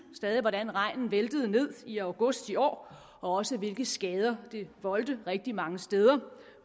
hvordan regnen væltede ned i august i år og også hvilke skader den voldte rigtig mange steder